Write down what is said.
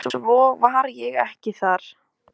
Og svo var ég ekki þar.